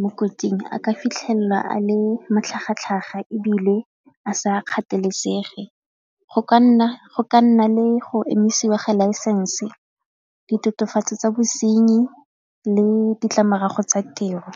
mo kotsing a ka fitlhelelwa a le matlhagatlhaga ebile a sa kgathalesege, go ka nna le go emisiwa ga license, ditokafatso tsa bosenyi le ditlamorago tsa tiro.